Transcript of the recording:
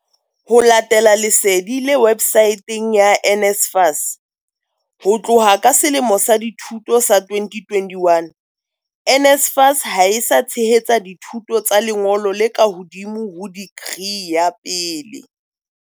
Ho latela lesedi le websaeteng ya NSFAS, ho tloha ka selemo sa dithuto sa 2021, NSFAS ha e sa tshehetsa dithuto tsa lengolo le ka hodimo ho dikri ya pele.